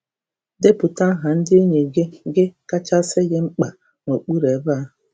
Depụta aha ndị enyi gị gị kacha sị gị mkpa n’okpuru ebe a.